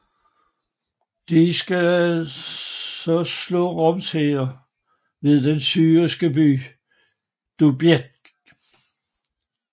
De skal så slå Roms hære ved den syriske byen Dubiq